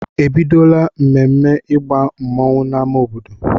E bidola ememme ịgba mmanwụ n'amá obodo?